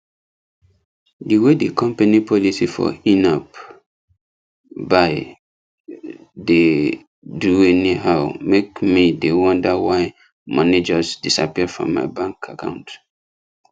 the way the company policy for inapp buy dey do anyhow make me dey wonder why money just disappear from my bank account